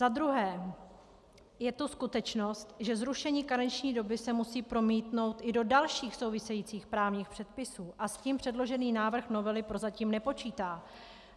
Za druhé je to skutečnost, že zrušení karenční doby se musí promítnout i do dalších souvisejících právních předpisů, a s tím předložený návrh novely prozatím nepočítá.